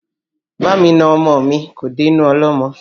Bá mi na ọmọ mi kò dé inú ọlọ́mọ